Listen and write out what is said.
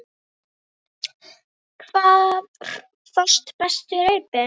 Hvar fást bestu reipin?